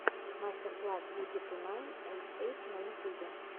мастер класс буги ту найн эйт эйт на ютюбе